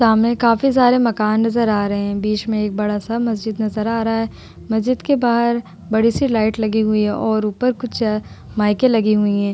सामने काफी सारे मकान नजर आ रहे हैं। बीच में एक बड़ा सा मस्जिद नजर आ रहा है। मस्जिद के बाहर बड़ी सी लाइट लगी हुई है और ऊपर कुछ माईके लगी हुई हैं।